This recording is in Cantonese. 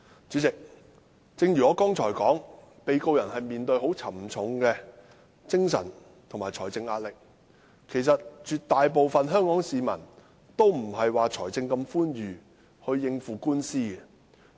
主席，正如我剛才所說，被告人會面對沉重的精神和財政壓力，絕大部分香港市民均沒有寬裕的財力應付官司。